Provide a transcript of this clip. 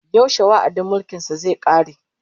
Yaushe wa'adin mulkin sa zai kare?